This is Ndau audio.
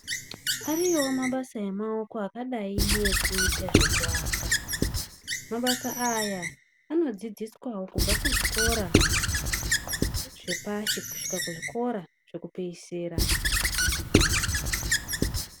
Ariwo mabasa emaoko akadai ngekuita zvekuaka mabasa aya anodzidziswawo kubva kuzvikora zvepashi kusvika kuzvikora zvekupedzisira.